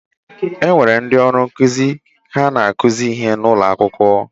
Enwere ndị ọrụ nkụzi, ha na-akuzi ihe n' ụlọakwụkwọ.